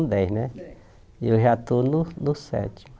Dez né E eu já estou no no sete